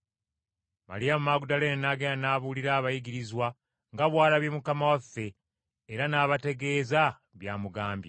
Maliyamu Magudaleene n’agenda n’abuulira abayigirizwa nga bw’alabye Mukama waffe, era n’abategeeza by’amugambye.